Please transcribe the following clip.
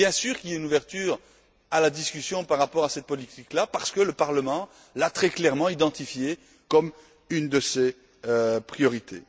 Bien sûr, y a une ouverture à la discussion par rapport à cette politique parce que le Parlement l'a très clairement identifiée comme une de ses priorités.